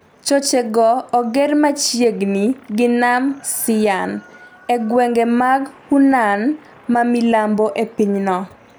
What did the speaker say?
choche go oger machiegni gi nam Shiyan, e gwenge mag Hunan mamilambo e pinyno.